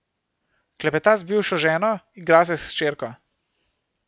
Klepeta z bivšo ženo, igra se s hčerko.